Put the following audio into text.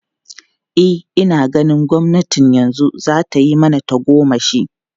E, ina ganin gwamnatin yanzu za ta yi mana tagomashi.